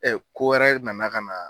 Ɛ ko wɛrɛ nana ka na.